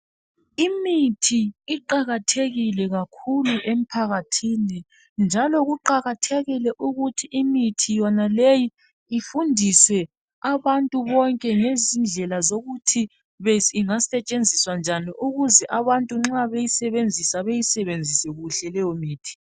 Imithi iqakathekile kakhulu emphakathini njalo kuqakathekile ukuthi imithi yonaleyi ifundise abantu bonke ngezindlela zokuthi ingasetshenziswa njani ukuze abantu nxa beyisebenzisa beyisebenzise kuhle leyo mithi.